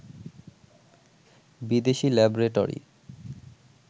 বিদেশি ল্যাবরেটরি